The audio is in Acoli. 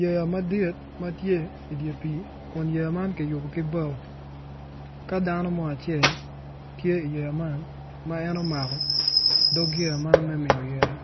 Yeya madit ma tye idi pii kun yeya man kiyubo ki bao ka dano mo acel tye iyeya man ma en omako dog yeya man me miyo ite